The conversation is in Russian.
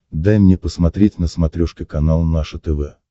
дай мне посмотреть на смотрешке канал наше тв